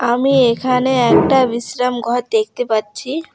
আমি এখানে একটা বিশ্রাম ঘর দেখতে পাচ্ছি।